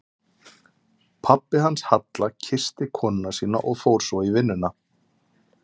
Pabbi hans Halla kyssti konuna sína og fór svo í vinnuna.